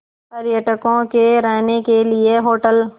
पर्यटकों के रहने के लिए होटल